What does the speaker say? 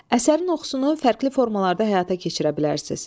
Əsərin oxusunu fərqli formalarda həyata keçirə bilərsiz.